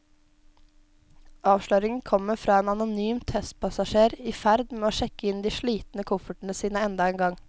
Avsløringen kommer fra en anonym testpassasjer i ferd med å sjekke inn de slitne koffertene sine enda en gang.